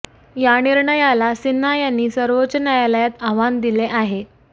या निर्णयाला सिन्हा यांनी सर्वोच्च न्यायालयात आव्हान दिले आहे